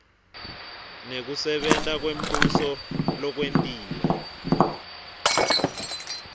nekusebenta kwembuso lokwentiwe